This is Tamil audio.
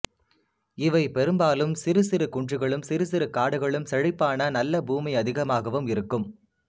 இவை பெரும்பாலும் சிறு சிறு குன்றுகளும் சிறு சிறு காடுகளும் செழிப்பான நல்ல பூமி அதிகமாகவும் இருக்கும்